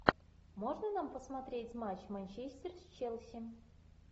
можно нам посмотреть матч манчестер с челси